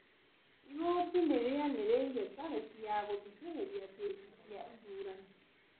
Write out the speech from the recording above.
Igoti nĩ rĩanĩrĩire tarĩki ya gũthikĩrĩrĩria kĩcĩ cia ithurano